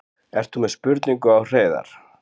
Ert þú með spurningu á Hreiðar?